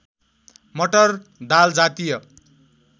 मटर दालजातीय